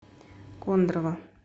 кондрово